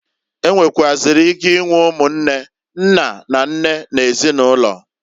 E nwekwuaziri ike inwe umunne nna na nne nezinulo.